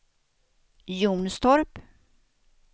Jonstorp